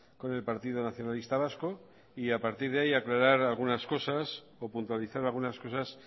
con el partido nacionalista vasco y a partir de ahí aclarar algunas cosas o puntualizar algunas cosas